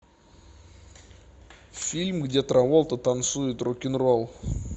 фильм где траволта танцует рок н ролл